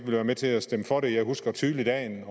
være med til at stemme for det jeg husker tydeligt dagen